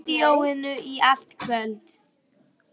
Verður í stúdíóinu í allt kvöld.